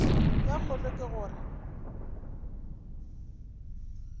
ye kgolo ke go re